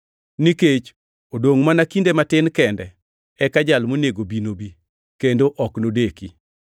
Nikech “odongʼ mana kinde matin kende, eka Jal monego bi, nobi, kendo ok nodeki.”